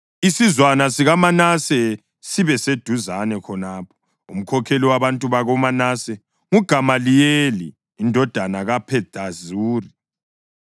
Isizwana sikaManase sibe seduzane khonapho. Umkhokheli wabantu bakoManase nguGamaliyeli indodana kaPhedazuri.